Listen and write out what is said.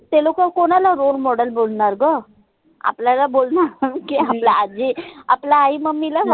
ते लोक कोनाला role model बोलनार ग? आपल्याला बोलनार की, आपल्या आजी आपल्या आई mummy ला